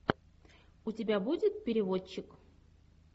у тебя будет переводчик